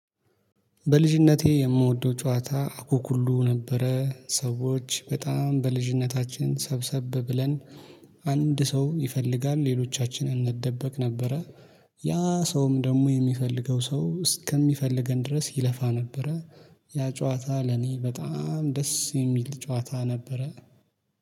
በልጅነቴ የምወደው ጨዋታ አኩኩሉ ነበረ ሰዎች በጣም በልጅነታችን ሰብሰብ ብለን አንድ ሰው ይፈልጋል ሌሎቻችን እንደበቅ ነበረ። ያ ሰውም ደግሞ የሚፈልገው ሰው እስከሚፈልገን ድረስ ይለፋ ነበረ። ያ ጨዋታ ለኔ በጣም ደስ የሚል ጨዋታ ነበረ